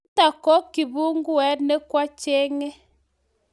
nitok ko kibunget ne kwa chenge